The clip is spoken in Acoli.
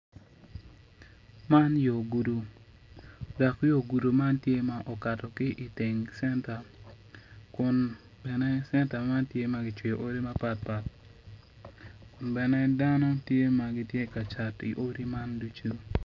Man yo gudo dok yo gudo man tye ma okato ki iteng centa kun bene centa man tye ma kicweyo odi mapat pat kun bene dano tye ma gitye ka cat i odi man ducu.